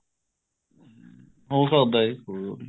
ਹੋ ਸਕਦਾ ਹੈ ਜੀ ਅਹ